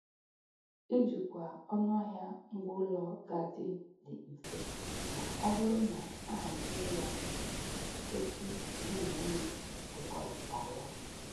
Ijikwa ọnụahịa ngwaụlọ ga-adị dị mfe maọbụrụ na-ahazie ya otu di na nwunye kwekọrịtaa ya